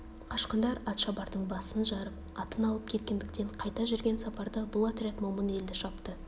қашқындар атшабардың басын жарып атын алып кеткендіктен қайта жүрген сапарда бұл отряд момын елді шапты